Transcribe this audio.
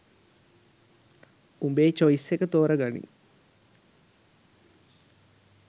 උඹේ චොයිස් එකක් තෝර ගනිං